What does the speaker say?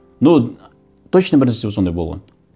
но точно бір нәрсе сондай болған